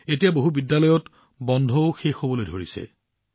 এতিয়া বহু বিদ্যালয়ত গ্ৰীষ্মকালীন ছুটীও শেষ হব